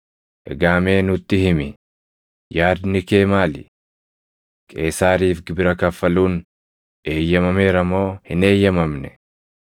Egaa mee nutti himi; yaadni kee maali? Qeesaariif gibira kaffaluun eeyyamameera moo hin eeyyamamne?”